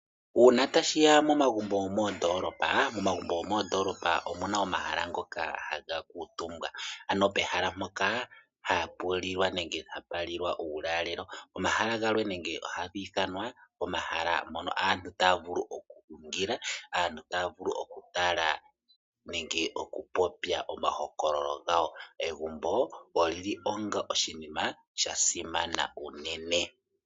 Uuna tashiya momagumbo gomoondoolopa, omagumbo gomoondoolopa omu na omahala ngoka haga kuutumbwa. Ano pehala mpoka hapu lilwa uulalelo nenge hapa lilwa, ano omahala ngano ohaga ithanwa omahala moka aantu taya vulu oku kundilwa nenge taya vulu oku tala nenge oku popya mahokololo gawo. Egumbo oli li onga oshinima sha simana unene.